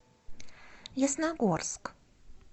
ясногорск